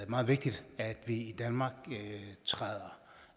og meget vigtigt at vi i danmark træder